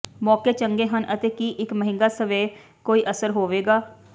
ਮੌਕੇ ਚੰਗੇ ਹਨ ਅਤੇ ਕੀ ਇੱਕ ਮਹਿੰਗਾ ਸਵੈ ਕੋਈ ਅਸਰ ਹੋਵੇਗਾ